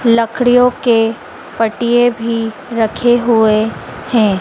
लकड़ियों के पटिए भी रखे हुए हैं।